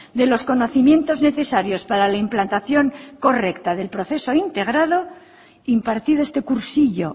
de los conocimientos necesarios para la implantación correcta del proceso integrador impartido este cursillo